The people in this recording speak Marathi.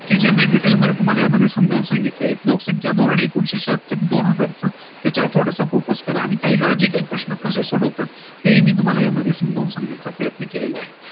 कि ज्यांनी detail मध्ये तुम्हाला यामध्ये समजावून सांगितले आहे लोकसंख्या दोन एकूणशे छ्याहत्तर त्याच्यावर थोडासा focus करा आणि काही Logical प्रश्न कसे सोडवतात ते मी तुम्हाला यामध्ये समजावून सांगण्या चा प्रयत्न केलेला आहे